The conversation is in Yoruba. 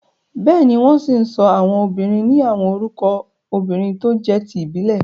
Bẹ́ẹ̀ni, wọ́n ṣì ń sọ àwọn obìnrin ni àwọn orúkọ obìrin tó jé ti ìbílẹ̀.